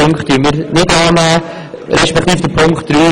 Die anderen Punkte werden wir nicht annehmen.